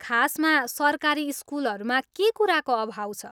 खासमा सरकारी स्कुलहरूमा के कुराको अभाव छ?